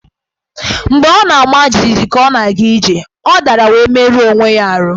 Mgbe ọ nọ na-ama jijiji ka ọ na-aga ije, ọ dara wee merụọ onwe ya ahụ́.